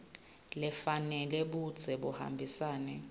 lefanele budze buhambisana